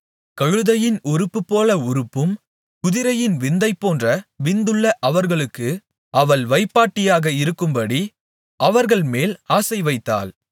கழுதையின் உறுப்புப்போல உறுப்பும் குதிரையின் விந்தைப்போன்ற விந்துள்ள அவர்களுக்கு அவள் வைப்பாட்டியாக இருக்கும்படி அவர்கள்மேல் ஆசைவைத்தாள்